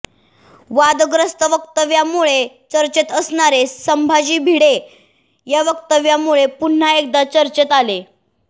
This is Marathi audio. वादग्रस्त वक्तव्यामुळे चर्चेत असणारे संभाजी भिडे या वक्तव्यामुळे पुन्हा एकदा चर्चेत आले